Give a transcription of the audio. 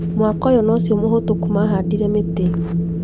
Mwaka ũyũ nocio mũhĩtũku mahandire mĩtĩ